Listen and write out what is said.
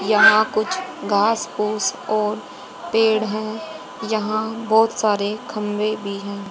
यहा कुछ घास फूस और पेड़ है यहां बहोत सारे खंबे भी है।